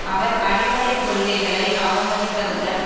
அவர் அடிப்படை கொள்கைகளை அவமதிப்பதுடன்